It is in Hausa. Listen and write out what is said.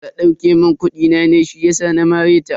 Ta dauke mun kudi na ne shiyasa na mare ta.